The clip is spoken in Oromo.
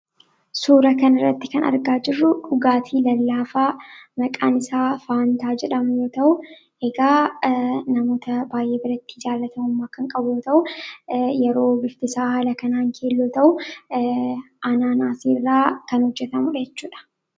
Suuraa kanarratti argaa kan jirru dhugaatii lallaafaa maqaan isaa Faantaa jedhamu yommuu ta'u, egaa namoota baay'ee biratti jaallatamummaa guddaa kan qabu yoo ta’u, yeroo bifti isaa haala kanaan keelloo ta'imu Anaanaasii irraa kan hojjetamudha jechuudha.